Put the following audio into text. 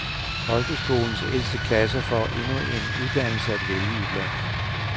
Folkeskolens ældste klasser får endnu en uddannelse at vælge iblandt.